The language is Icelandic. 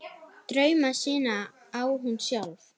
Drauma sína á hún sjálf.